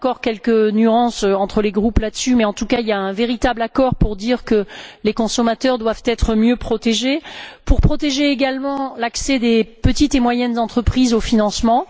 Il y a encore quelques légères divergences entre les groupes là dessus, mais en tout cas, il y a un véritable accord pour dire que les consommateurs doivent être mieux protégés et pour protéger également l'accès des petites et moyennes entreprises au financement.